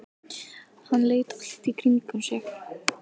Hann leit allt í kringum sig.